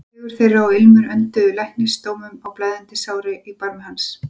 Fegurð þeirra og ilmur önduðu læknisdómum á blæðandi sárin í barmi hans.